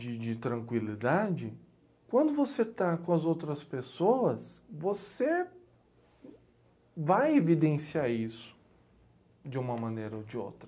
De de tranquilidade, quando você está com as outras pessoas, você vai evidenciar isso de uma maneira ou de outra.